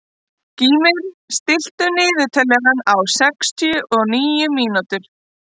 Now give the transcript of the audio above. Gýmir, stilltu niðurteljara á sextíu og níu mínútur.